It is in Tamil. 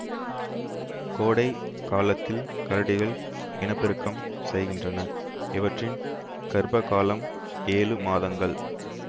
கோடை காலத்தில் கரடிகள் இனப்பெருக்கம் செய்கின்றன இவற்றின் கர்ப்ப காலம் ஏழு மாதங்கள்